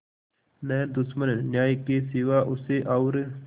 न दुश्मन न्याय के सिवा उसे और